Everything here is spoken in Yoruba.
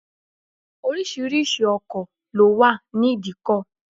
Oríṣiríṣi ọkọ̀ ló wà ní idikọ̀